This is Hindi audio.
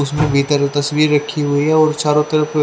उसमें भीतर तस्वीर रखी हुई है और चारों तरफ--